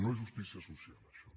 no és justícia social això